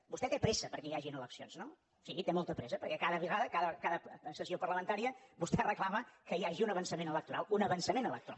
vostè té pressa perquè hi hagin eleccions no sí té molta pressa perquè cada vegada a cada sessió parlamentària vostè reclama que hi hagi un avançament electoral un avançament electoral